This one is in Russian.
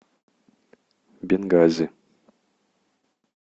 бенгази